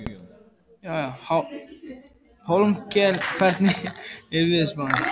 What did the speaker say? Hólmkell, hvernig er veðurspáin?